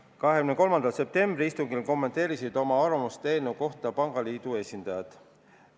23. septembri istungil kommenteerisid oma arvamust eelnõu kohta Eesti Pangaliidu esindajad.